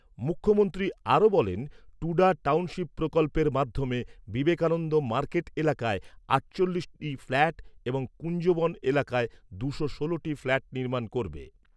মুখ্যমন্ত্রী আরও বলেন, টুডা টাউনশিপ প্রকল্পের মাধ্যমে বিবেকানন্দ মার্কেট এলাকায় আটচল্লিশটি ফ্ল্যাট এবং কুঞ্জবন এলাকায় দুশো ষোলটি ফ্ল্যাট নির্মাণ করবে।